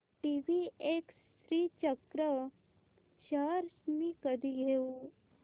TVS Srichakra shares मी कधी घेऊ